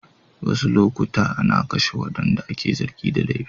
Wasu lokuta ana kashe waɗanda ake zargin da laifi.